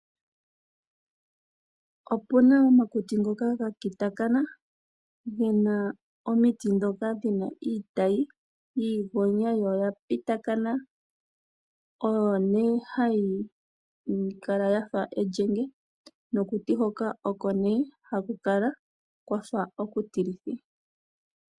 Opuna omakuti ngoka ga kitakana gena omiti dhoka dhina iitayi yiigonya yo oya pitakana. Oyo nee hayi kala yafa elyenge, nokuti hoka oko nee haku kala kwafa oku tilithi.